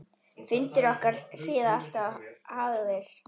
Fundir okkar síðar alltof fáir.